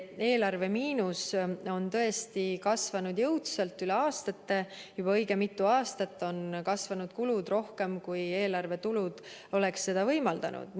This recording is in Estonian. Eelarve miinus on tõesti kasvanud jõudsalt üle aastate, juba õige mitu aastat on kasvanud kulud rohkem, kui eelarve tulud oleksid seda võimaldanud.